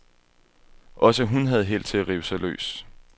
Også hun havde held til at rive sig løs.